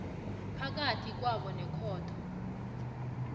phakathi kwakho nekhotho